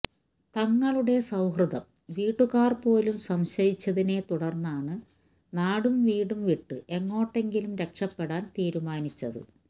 തങ്ങളുടെ സൌഹൃദം വീട്ടുകാര് പോലും സംശയിച്ചതിനെ തുടര്ന്നാണ് നാടും വീടും വിട്ട് എങ്ങോട്ടെങ്കിലും രക്ഷപ്പെടാന് തീരുമാനിച്ചത്